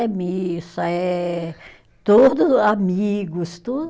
É missa, é todos amigos, tudo.